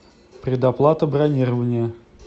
предоплата бронирования